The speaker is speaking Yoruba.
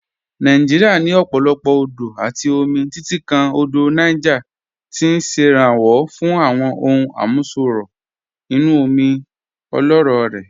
Nàìjíríà ní ọ̀pọ̀lọpọ̀ odò àti omi, títí kan Odò Niger tí ń ṣèrànwọ́ fún àwọn ohun àmúṣọrọ̀ inú omi ọlọ́rọ̀ rẹ̀.